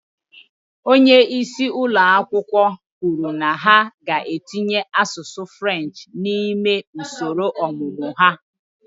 Onye isi ụlọ akwụkwọ ahụ kwuru na ha ga-etinye asụsụ French n'ime usoro ọmụmụ ha